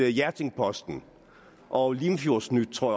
hjerting posten og limfjordsnyt tror